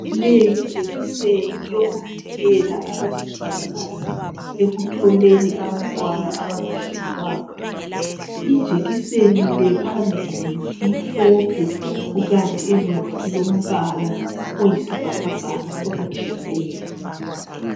Leyi yijekiseni yokuvikela abesifazana ekutholeni abantwana abangahlelwanga. Ijekiseni le phambili imhlophe kukanti emuva ilombala oyisibhakabhaka okujiyileyo.